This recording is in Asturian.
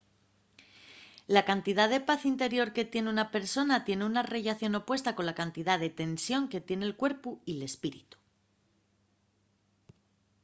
la cantidá de paz interior que tien una persona tien una rellación opuesta cola cantidá de tensión que tien el cuerpu y l’espíritu